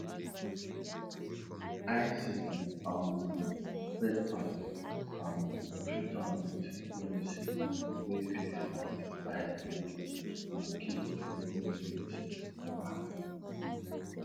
eye sickness um spread fast um treat am with medicine wey fit fight eye disease and keep infected birds far